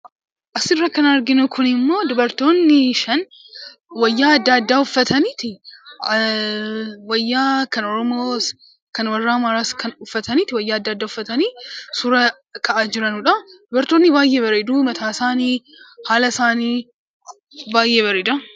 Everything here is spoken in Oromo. Suuraan Kun kan dubartoonni uffata sabaa fi sab-lammii adda addaa uffatanii kan dhaabbachaa jiranii dha. Dubartoonni kunis uffanni isaanii fi haalli isaanii kan baayyee bareeduu dha.